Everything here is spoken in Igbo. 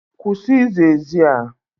Kwụsị ịza ezi a!